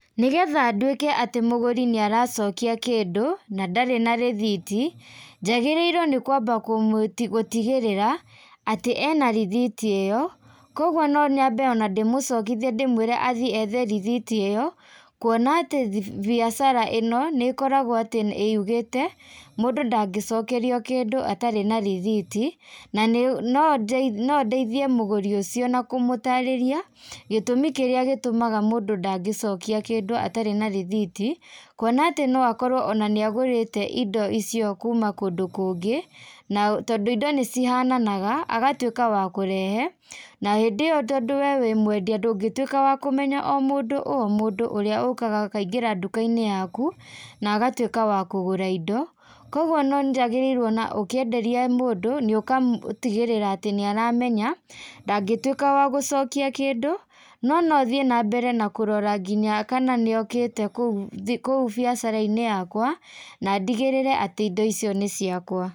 Nĩgetha ndwĩke atĩ mũgũri nĩaracokia kĩndũ, na ndarĩ na rithiti, njagĩrĩirwo nĩ kwamba kũmwĩti, gũtigĩrĩra atĩ ena rithiti ĩyo, koguo ona nonyambe ndĩmũcokithie ndĩmwĩre athi ethe rithiti ĩyo, kuona atĩ thi biacara ĩno nĩkoragwo atĩ yugĩte, mũndũ ndangĩcokerio kĩndũ atarĩ na rithiti, nanĩ no nondeithie mũgũri úcio na kũmũtarĩria, gĩtũmi kĩrĩa gĩtũmaga mũndũ ndangĩcokia kĩndũ atarĩ na rithiti, kuona atĩ ona noakorwo nĩagũrĩte indo icio kuma kũndũ kũngĩ, nao tondũ indo nĩcihananaga, agatuĩka wa kũrehe, na hĩndĩ ĩyo tondũ we wĩ mwendia, ndũngĩtuĩka wa kũmenya mũndũ o mũndũ ũrĩa ũkaga akaingĩra nduka-inĩ yaku, na agatuĩka wa kũgũra indo, koguo nonjagĩrĩirwo na ũkĩenderia mũndũ, nĩũka ũgatigĩrĩra atĩ nĩaramenya, ndangĩtuĩka wa gũcokia kĩndũ, no nothiĩ nambere na kũrora nginya kana nĩokĩte kũu, kũu biacara-inĩ yakwa, nandigĩrĩre atĩ indo icio nĩ ciakwa.